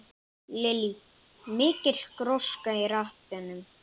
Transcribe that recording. Lillý: Mikil gróska í rappinu?